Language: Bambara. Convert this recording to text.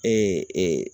Ee